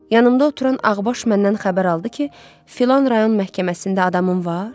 Yanımda oturan ağbaş məndən xəbər aldı ki, filan rayon məhkəməsində adamın var?